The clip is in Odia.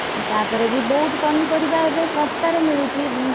ତା ପରେ ବି ବହୁତ୍ ପନିପରିବା ଏବେ ଶସ୍ତାରେ ମିଳୁଛି।